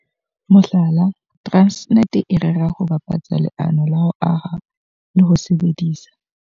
Mohlala, Transnet e rera ho bapatsa leano la ho aha le ho sebedisa